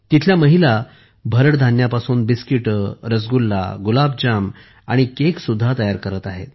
तिथल्या महिला भरड धान्यापासून बिस्कीटे रसगुल्ला गुलाब जामुन आणि केक सुद्धा तयार करत आहेत